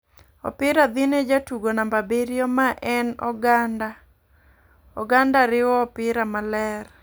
Opira dhi ne jatugo namba abiriyo ma een Oganda, oganda riwo opira maler .